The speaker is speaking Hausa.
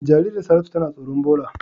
Jaririyan Saratu tana tsoron ɓola.